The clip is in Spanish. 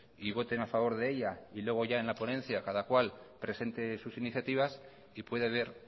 y voten a favor de ella y luego ya en la ponencia cada cual presente sus iniciativas y puede haber